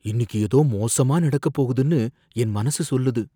இன்னிக்கு ஏதோ மோசமா நடக்கப் போகுதுன்னு என் மனசு சொல்லுது.